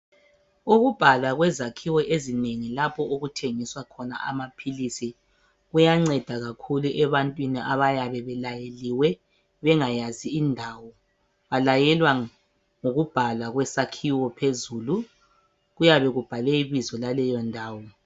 Ukubhalwa kwezakhiwo ezinengi lapho okuthengiswa khona amaphilisi Kuyanceda kakhulu ebantwini abayabe belayeliwe bengayazi indawo balayelwa ngokubhalwa kwesakhiwo phezulu .Kuyabe kubhalwe ibizo laleyo ndawo .